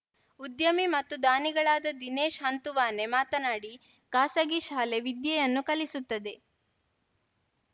ಉದ್ಯಮಿ ಮತ್ತು ದಾನಿಗಳಾದ ದಿನೇಶ್‌ ಹಂತುವಾನೆ ಮಾತನಾಡಿ ಖಾಸಗಿ ಶಾಲೆ ವಿದ್ಯೆಯನ್ನು ಕಲಿಸುತ್ತದೆ